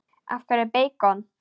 Af hverju beikon?